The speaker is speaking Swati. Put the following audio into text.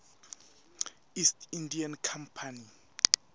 east india company